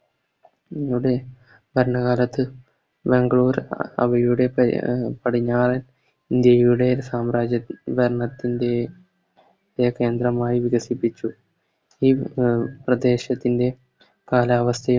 നമ്മുടെ ഭരണകാലത്ത് ബാംഗ്ലൂര് അവയുടെ പ പടിഞ്ഞാറൻ ഇന്ത്യയുടെ സാമ്രാജ്യ ഭരണത്തിൻറെ കെ കേന്ദ്രമായി വികസിപ്പിച്ചു ഇത് പ്രദേശത്തിൻറെ കാലാവസ്ഥയെ